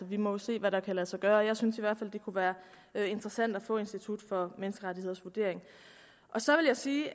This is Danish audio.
vi må jo se hvad der kan lade sig gøre jeg synes i hvert fald det kunne være interessant at få institut for menneskerettigheders vurdering og så vil jeg sige at